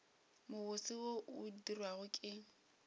mobose wo o dirwago ke